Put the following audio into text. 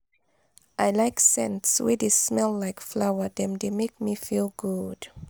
i like scents wey dey smell like flower dem dey make me feel good.